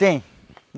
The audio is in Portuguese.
Tem.